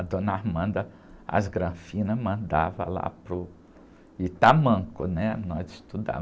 A dona, as granfinas, mandava lá para o... E tamanco, né? Nós estudávamos.